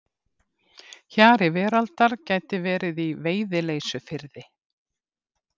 Hjari veraldar gæti verið í Veiðileysufirði.